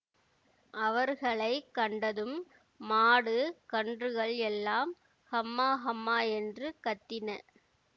அவர்களை கண்டதும் மாடு கன்றுகள் எல்லாம் ஹம்மா ஹம்மா என்று கத்தின